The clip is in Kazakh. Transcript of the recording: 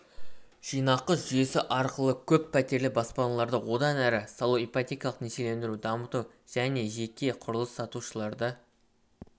жинағы жүйесі арқылы көппәтерлі баспаналарды одан әрі салу ипотекалық несиелендіруді дамыту және жеке құрылыс салушыларды